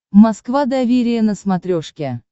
москва доверие на смотрешке